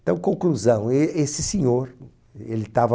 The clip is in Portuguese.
Então, conclusão, e esse senhor, ele estava...